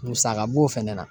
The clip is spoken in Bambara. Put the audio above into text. Musaka b'o fɛnɛ na.